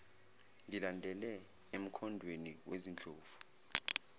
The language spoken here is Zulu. ngilandele emkhondweni wezindlovu